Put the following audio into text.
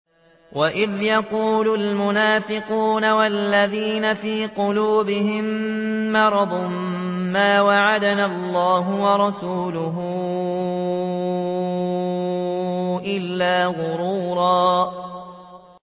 وَإِذْ يَقُولُ الْمُنَافِقُونَ وَالَّذِينَ فِي قُلُوبِهِم مَّرَضٌ مَّا وَعَدَنَا اللَّهُ وَرَسُولُهُ إِلَّا غُرُورًا